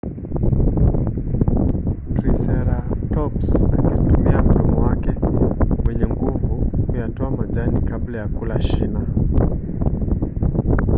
triseratops angeutumia mdomo wake wenye nguvu kuyatoa majani kabla ya kula shina